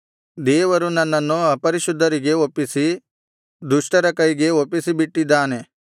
ದೇವರು ನನ್ನನ್ನು ಅಪರಿಶುದ್ಧರಿಗೆ ಒಪ್ಪಿಸಿ ದುಷ್ಟರ ಕೈಗೆ ಒಪ್ಪಿಸಿಬಿಟ್ಟಿದ್ದಾನೆ